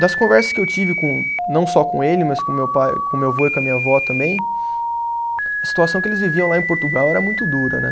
das conversas que eu tive com, não só com ele, mas com meu pai, com meu vô e com a minha vó também, a situação que eles viviam lá em Portugal era muito dura né.